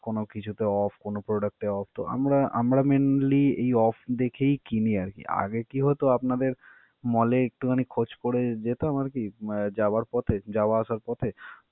কোন কিছুতে off, কোন product এ off তো আমরা~ আমরা mqinly এই off দেখেই কিনি আর কি. আগে কি হতো আপনাদের mall এ একটুখানি খোজ করে যেতাম আর কি ~এ যাওয়ার পথে, যাওয়া আসার পথে।